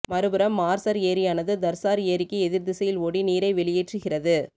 மறுபுறம் மார்சர் ஏரியானது தர்சார் ஏரிக்கு எதிர் திசையில் ஓடி நீரை வெளியேற்றுகிறது